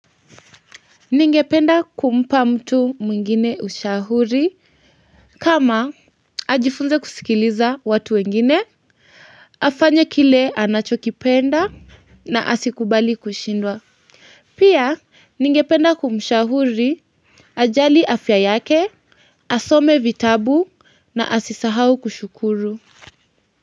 Ningependa kumpa mtu mwingine ushauri kama ajifunze kusikiliza watu wengine afanye kile anachokipenda na asikubali kushindwa pia ningependa kumshauri ajali afya yake asome vitabu na asisahau kushukuru.